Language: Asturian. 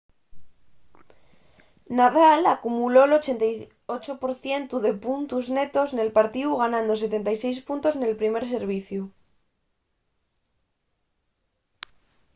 nadal acumuló'l 88% de puntos netos nel partíu ganando 76 puntos nel primer serviciu